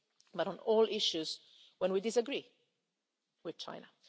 trade but on all issues, when we disagree with